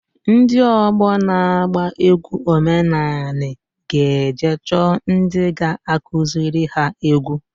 Ndị ọgbọ na-agba egwu omenanị g'eje chọọ ndị ga-akụzịrị ha egwu.